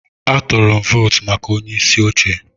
Atụrụ m votu maka onyeisi oche.